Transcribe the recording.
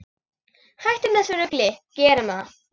Hættum þessu rugli, gerum það!